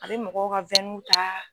Abe mɔgɔw ka wɛnun taa